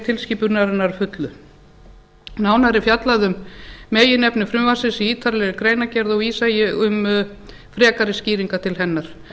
tilskipunarinnar að fullu nánar er fjallað um meginefni frumvarpsins í ítarlegri greinargerð og vísa ég um frekari skýringar til hennar